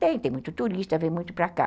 Tem, tem muito turista, vem muito para cá.